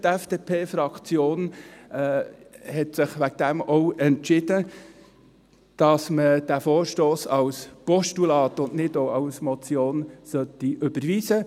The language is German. Die FDPFraktion hat sich deswegen auch entschieden, dass man den Vorstoss als Postulat und nicht als Motion überweisen sollte.